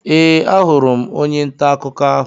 Ee, ahụrụ m onye ntà akụkọ ahụ.